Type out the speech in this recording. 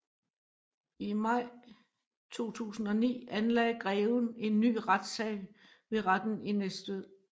I maj 2009 anlagde greven en ny retssag ved Retten i Næstved